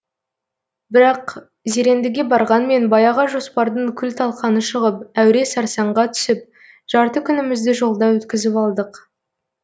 бірақ зерендіге барғанмен баяғы жоспардың күл талқаны шығып әуре сарсаңға түсіп жарты күнімізді жолда өткізіп алдық